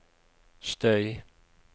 støy